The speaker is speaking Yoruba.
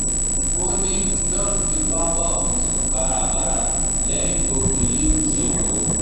ó ní john fipá bá òun sùn kárakára lẹ́yìn tó ti fi lílù ṣe tòun